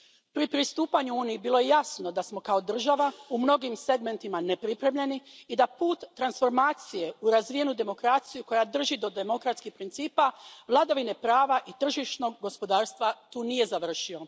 Pri pristupanju Uniji bilo je jasno da smo kao država u mnogim segmentima nepripremljeni i da put transformacije u razvijenu demokraciju koja drži do demokratskih principa, vladavine prava i tržišnog gospodarstva tu nije završio.